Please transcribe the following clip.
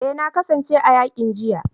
Eh na kasance a yakin jiya